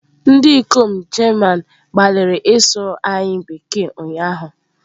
Ndị ikom German gbalịrị ịsụ anyị Bekee ụnyahụ.